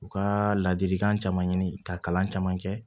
U ka ladilikan caman ɲini ka kalan caman kɛ